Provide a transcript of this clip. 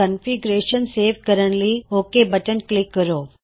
configuration save ਕਰਣ ਲਈ OK button click ਕਰੋ